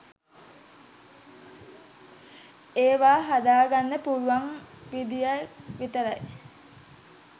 ඒවා හදාගන්න පුළුවන් විදියයි විතරයි